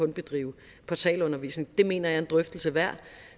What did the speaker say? bedrive portalundervisning det mener jeg er en drøftelse værd